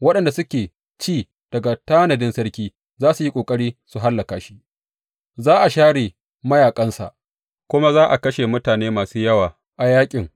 Waɗanda suke ci daga tanadin sarki za su yi ƙoƙari su hallaka shi; za a share mayaƙansa, kuma za a kashe mutane masu yawa a yaƙin.